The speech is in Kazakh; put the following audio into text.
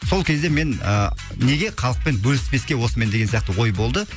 сол кезде мен а неге халықпен бөліспеске осымен деген сияқты ой болды